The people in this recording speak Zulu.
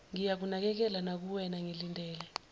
ngiyakunakekela nakuwena ngilindele